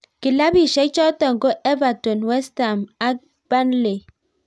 Kilapiishek chotok ko Everton ,Westham Ak Burnley